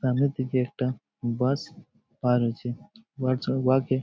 সামনের দিকে একটা বাস পার হয়েছে | বাস --]